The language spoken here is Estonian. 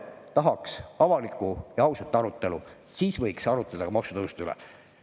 Tahaks avalikku ja ausat arutelu, siis võiks arutada ka maksutõusude üle.